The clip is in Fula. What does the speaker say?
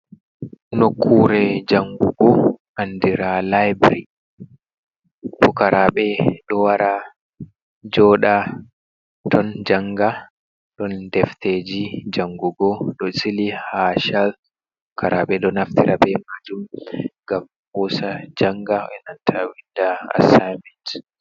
Nokkure jangugo andira laibiry, fukaraɓe ɗo wara joɗa ton janga, ɗon defteji jangugo ɗo sili ha chak fukaraɓe ɗo naftira be majum ngam hosa janga inanta winda asaimet.